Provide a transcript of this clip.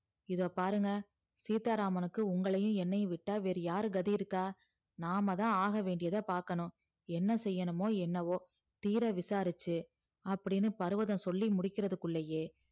இதோ பாருங்க சீத்தா ராமனுக்கு உங்களையும் என்னையும் விட்டா வேற யாரு கதி இருக்கா நாமதா ஆகவேண்டியது பாக்கணும் என்ன செய்யணுமோ என்னமோ தீர விசாரிச்சி அப்டின்னு பருவதம் சொல்லி முடிக்கிறது குள்ளயே